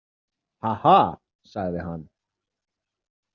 Haha, sagði hann.